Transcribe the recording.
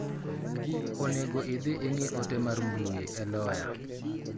Onego idhi ing'i ote mar mbui e loya.